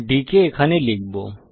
d কে এখানে লিখব